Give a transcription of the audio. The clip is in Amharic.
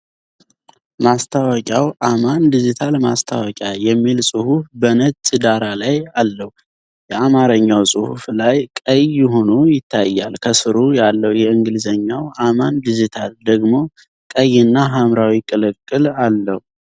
ማስታወቂያው "አማን ዲጂታል ማስታወቂያ" የሚል ጽሑፍ በነጭ ዳራ ላይ አለው። የአማርኛው ጽሑፍ ቀይ ሆኖ ይታያል፣ ከሥሩ ያለው የእንግሊዝኛው "አማን ዲጅታል " ደግሞ ቀይና ሐምራዊ ቅልቅል አለው